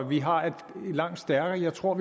vi har et langt stærkere jeg tror